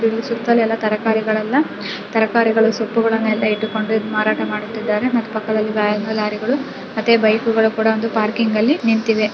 ಇಲ್ಲಿ ಸುತ್ತಲು ಎಲ್ಲಾ ತರಕಾರಿಗಳೆಲ್ಲಾ ತರಕಾರಿಗಳುಸೊಪ್ಪು ಗಳನ್ನೂ ಇಟ್ಟುಕೊಂಡು ಮಾರಾಟಮಾಡು ತ್ತಿದ್ದಾರೆ ಮತ್ತೆ ಪಕ್ಕದಲಿ ಬೈಕ್ಗಳ ಪಾರ್ಕಿಂಗ್ ನಿಂತಿದೆ .